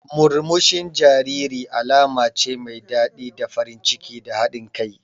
Murmushin jariri alama ce mai daɗi da farin ciki da haɗin kai.